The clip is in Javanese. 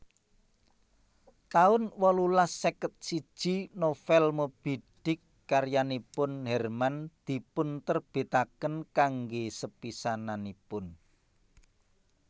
taun wolulas seket siji Novel Moby Dick karyanipun Herman dipunterbitaken kanggé sepisananipun